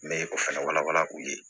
N bɛ o fɛnɛ walawala u ye